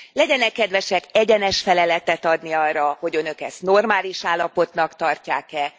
Legyenek kedvesek egyenes feleletet adni arra, hogy Önök ezt normális állapotnak tartják e?